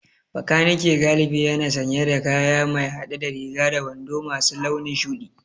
Makaniki galibi yana sanye da kaya mai hade da riga da wando masu launin shudi